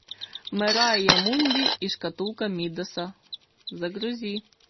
мэрайа мунди и шкатулка мидаса загрузи